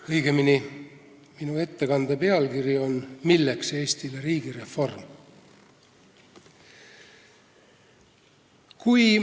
Õigemini on minu ettekande pealkiri ''Milleks Eestile riigireform?